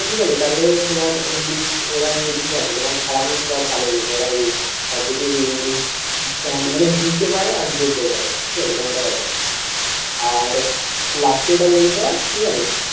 ঠিক আছে তাহলে তোমার ওই english ওরা এমনিতেই পাবে তোমার খারাপ হোক বা ভালোই হোক ওরাই ভাববে যে english মানে বুঝতে পারে আর বলতেও পারে. ঠিক আছে এরকম একটা ব্যাপার আর last এটা বলতে হয় ঠিক আছে?